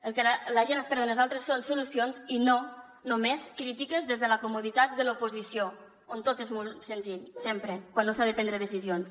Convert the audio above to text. el que la gent espera de nosaltres són solucions i no només crítiques des de la comoditat de l’oposició on tot és molt senzill sempre quan no s’ha de prendre decisions